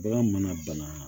Bagan mana bana